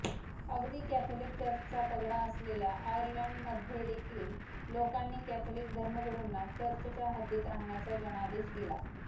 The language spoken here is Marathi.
अगदी कँथलिक चर्चचा पगडा असलेल्या आर्यलँडमध्येदेखील लोकांनी कॅथलिक धर्मगुरुंना चर्चच्या हद्दीत राहण्याचा जनादेश दिला